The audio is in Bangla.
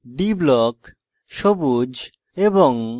d block – সবুজ এবং